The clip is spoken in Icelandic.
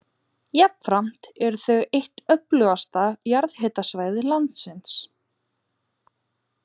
Jafnframt eru þau eitt öflugasta jarðhitasvæði landsins.